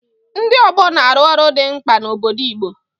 Ndị ọgbọ na-arụ ọrụ dị mkpa n'obodo Igbo.